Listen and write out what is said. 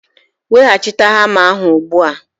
Weghachite hamma ahụ ugbu a!